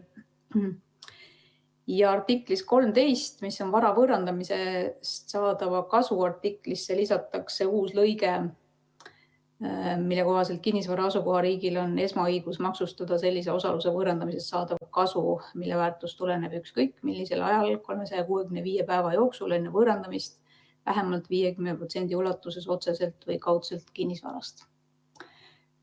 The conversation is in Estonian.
Ja artiklisse 13, vara võõrandamisest saadava kasu artiklisse, lisatakse uus lõige, mille kohaselt kinnisvara asukoha riigil on esmaõigus maksustada sellise osaluse võõrandamisest saadav kasu, mille väärtus tuleneb ükskõik millisel ajal 365 päeva jooksul enne võõrandamist vähemalt 50% ulatuses otseselt või kaudselt kinnisvarast.